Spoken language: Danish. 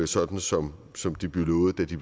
sådan som som det blev lovet da de